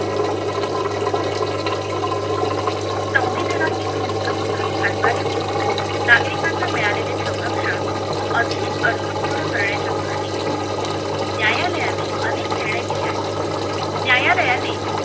संविधानातील मूलभूत हाक्काद्वारे नागरिकांना मिळालेले संरक्षण अधिक अर्थपूर्ण करण्याच्या दृष्टीने न्यायालयाने अनेक निर्णय दिले आहे न्यायालयाने